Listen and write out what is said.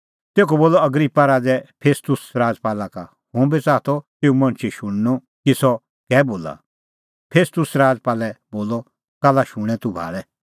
तेखअ बोलअ अग्रिप्पा राज़ै फेस्तुस राजपाला का हुंबी च़ाहा तेऊ मणछे शुणनअ कि सह कै बोला फेस्तुस राजपालै बोलअ काल्ला शूणैं तूह भाल़ै